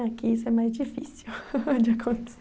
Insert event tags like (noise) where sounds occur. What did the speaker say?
Aqui isso é mais difícil (laughs) de